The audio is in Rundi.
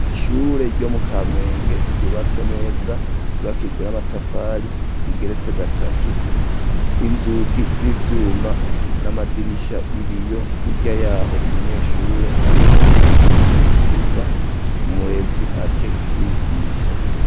Ishure yo mu Kamenge, yubatswe neza, ryubakishijwe n'amatafari, rigeretse gatatu; inzugi z'ivyuma, n'amadirisha y'ibiyo; hirya y’aho umunyeshure arimwo arakina, mu kibuga; umurezi aje kubigisha.